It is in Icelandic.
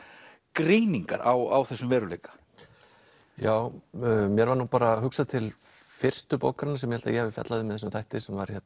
greiningar á þessum veruleika já mér var nú bara hugsað til fyrstu bókarinnar sem ég að ég hafi fjallað um í þessum þætti sem var